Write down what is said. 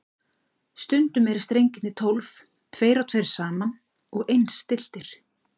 Stundum eru strengirnir tólf, tveir og tveir saman og eins stilltir.